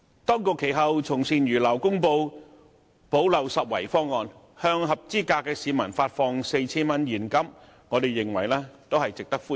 當局其後從善如流，公布補漏拾遺方案，向合資格市民發放 4,000 元現金，我們認為這項措施值得歡迎。